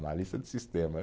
Analista de sistema.